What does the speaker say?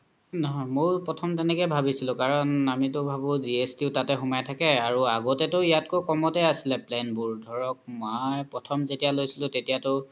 নহয় ময়ো প্ৰথ্ম্তে তেনেকে ভাবিছিলো কাৰন আমিতো ভাবু GST ও তাতে সুমাই থাকে আৰু আগোতেও ইয়াতকৈ কম্তে আছিলে plan বোৰ ধৰক মই প্ৰথ্ম্ যেতিয়া লইছিলো তেতিয়া তো